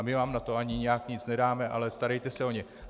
A my vám na to ani nijak nic nedáme, ale starejte se o ně."